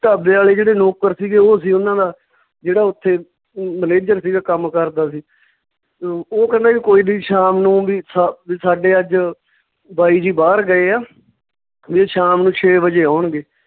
ਢਾਬੇ ਆਲੇ ਜਿਹੜੇ ਨੌਕਰ ਸੀਗੇ ਓਹ ਸੀ ਓਨਾਂ ਦਾ, ਜਿਹੜਾ ਓਥੇ manager ਸੀਗਾ ਕੰਮ ਕਰਦਾ ਸੀ ਅਹ ਓਹ ਕਹਿੰਦਾ ਵੀ ਕੋਈ ਨੀ ਸ਼ਾਮ ਨੂੰ ਵੀ ਸਾ ਵੀ ਸਾਡੇ ਅੱਜ ਬਾਈ ਜੀ ਬਾਹਰ ਗਏ ਆ ਵੀ ਉਹ ਸ਼ਾਮ ਨੂੰ ਛੇ ਵਜੇ ਆਉਣਗੇ